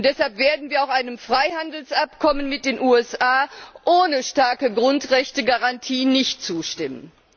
Und deshalb werden wir auch einem Freihandelsabkommen mit den USA ohne starke Grundrechtegarantie nicht zustimmen.